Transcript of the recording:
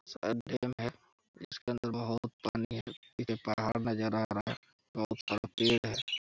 पानी है एक पहाड़ नजर आ रहा है।